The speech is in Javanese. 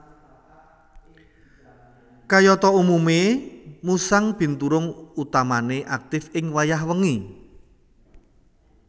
Kayata umume musang binturung utamane aktif ing wayah wengi